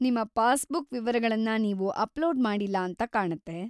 ನಿಮ್ಮ ಪಾಸ್‌ಬುಕ್ ವಿವರಗಳನ್ನ ನೀವು ಅಪ್‌ಲೋಡ್ ಮಾಡಿಲ್ಲ ಅಂತ ಕಾಣತ್ತೆ.